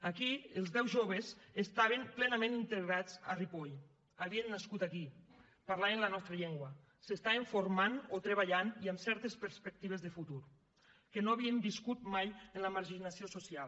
aquí els deu joves estaven plenament integrats a ripoll havien nascut aquí parlaven la nostra llengua s’estaven formant o treballant i amb certes perspectives de futur no havien viscut mai en la marginació social